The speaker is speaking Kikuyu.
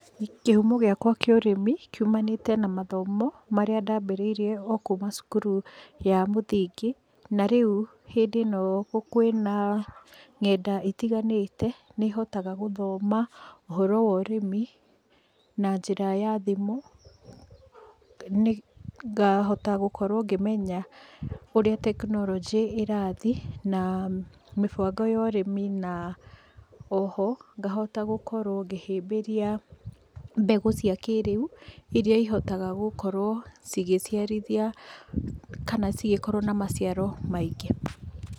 Kĩhumo gĩakwa kĩa ũrĩmi, kiumanĩte na mathomo, marĩa ndambĩrĩirie okuma cukuru ya mũthingi, na rĩu hĩndĩ ĩno kwĩna nenda itiganĩte, nĩhotaga gũthoma ũhoro wa ũrĩmi na njĩra ya thimũ, ngahota gũkorwo ngĩmenya ũrĩa technology ĩrathiĩ, na mĩbango ya ũrĩmi, na oho, ngahota gũkorwo ngĩhĩmbĩria mbegũ cia kĩrĩu, iria ihotaga gũkorwo cigĩciarithia kana cigĩkorwo na maciaro maingĩ.